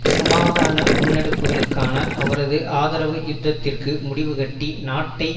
சமாதான முன்னெடுப்புகளுக்கான அவரது ஆதரவு யுத்ததிற்கு முடிவுகட்டி நாட்டை